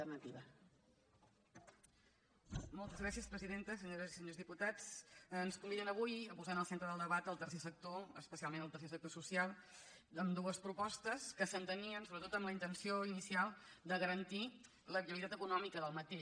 senyores i senyors diputats ens conviden avui a posar en el centre del debat el tercer sector especialment el tercer sector social amb dues propostes que s’entenien sobretot amb la intenció inicial de garantir la viabilitat econòmica del sector